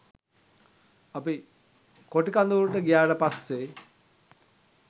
අපි කොටි කඳවුරට ගියාට පස්සේ